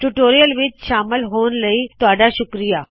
tutorial ਵਿੱਚ ਸ਼ਾਮਲ ਹੋਣ ਲਈ ਤੁਹਾੱਡਾ ਸ਼ੁਕਰਿਆ